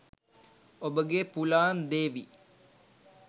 ඔබගේ පුලාන් දේවි